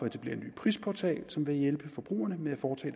etablere en ny prisportal som vil hjælpe forbrugerne med at foretage